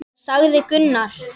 sagði Gunnar.